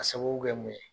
Ka sababu kɛ mun ye